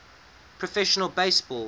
professional base ball